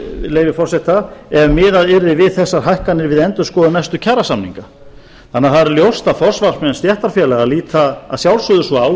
leyfi forseta ef miðað yrði við þessar hækkanir við endurskoðun næstu kjarasamninga þannig að það er alveg ljóst að forsvarsmenn stéttarfélaga líta að sjálfsögðu svo á og